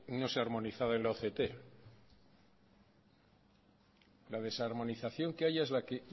no se ha armonizado en la la desarmonización que hay es la que